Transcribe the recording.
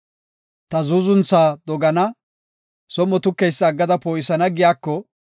‘Ta zuuzuntha dogana; som7o tukeysa aggada poo7isana giyako,’